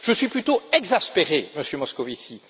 Je suis plutôt exaspéré, Monsieur Moscovici.